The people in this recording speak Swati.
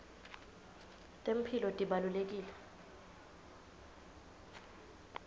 temphilo tibalulekile